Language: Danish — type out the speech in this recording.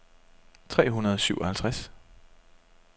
tre hundrede og syvoghalvtreds